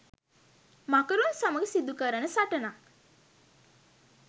මකරුන් සමග සිදු කරන සටනක්.